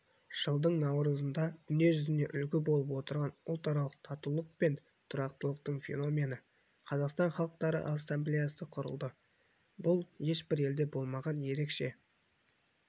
жылдың наурызында дүние жүзіне үлгі болып отырған ұлтаралық татулық пен тұрақтылықтың феномені қазақстан халықтары ассамблеясы құрылды бұл ешбір елде болмаған ерекше